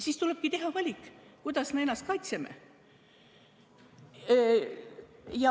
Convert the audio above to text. Siis tulebki teha valik, kuidas me ennast kaitseme.